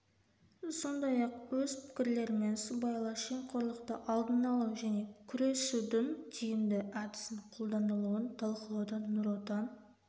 сондай ақ өз пікірлерімен сыбайлас жемқорлықты алдын алу және күресудің тиімді әдісін қолданылуын талқылауда нұр отан